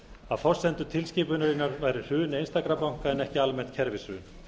að forsendur tilskipunarinnar væru hrun einstakra banka en ekki almennt kerfishrun